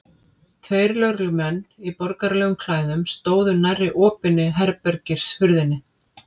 Tveir lögreglumenn í borgaralegum klæðum stóðu nærri opinni herbergishurðinni.